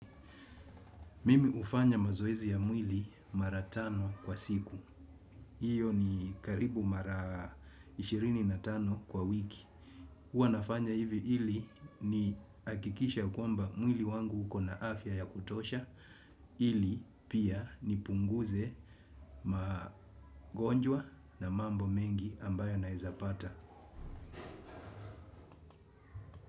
Mimi ufanya mazoezi ya mwili mara tano kwa siku. Hiyo ni karibu mara ishirini na tano kwa wiki. Uwa nafanya hivi hili niakikishe ya kwamba mwili wangu uko na afya ya kutosha. Hili pia nipunguze magonjwa na mambo mengi ambayo naezapata.